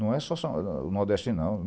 Não é só só do Nordeste, não.